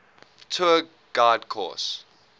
tour guide course